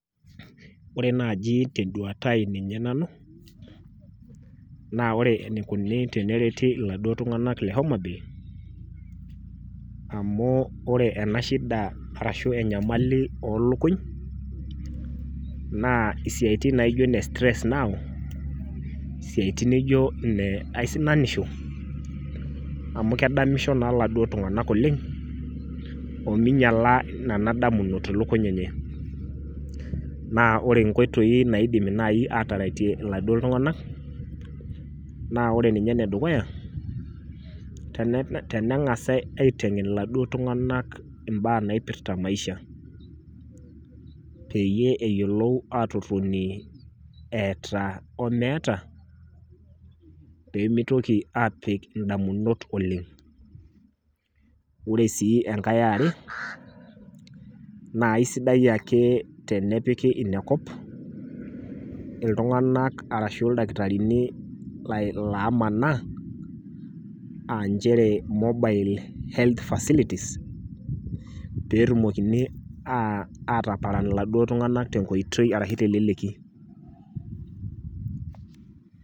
Ore naji tenduata ai ninye nanu naa ore enikoni tenereti iladuo tunganak le homabay amu ore ena shida arashu enyamali olukuny naa isiatin nijo inestress naau , isiatin nijo ine aisinanisho amu kedamisho naa iladuo tunganak oleng ominyiala nena damunot ilukuny enye . Naa ore inkoitoi naidimi nai ataretie iladuo tunganak naa ore ninye ene dukuya tenengasae aitengen iladuo tunganak imbaa naipirta maisha , peyie eyiolou atotonie eeta omeeta , pemitoki aapik indamunot oleng. Ore sii enkae eare , naa aisidai ake tenepiki inekop iltunganak arashu ildakatarini lomanaa aa nchere mobile health facilities peetumokini a ataparan iladuo tunganak arashu teleleki .